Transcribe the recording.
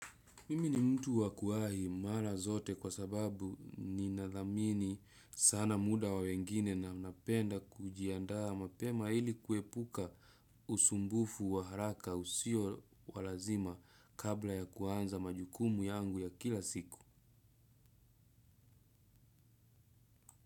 Mimi ni mtu wa kuwahi mara zote kwa sababu ninathamini sana muda wa wengine na napenda kujiandaa mapema ili kuepuka usumbufu wa haraka usio lazima kabla ya kuanza majukumu yangu ya kila siku.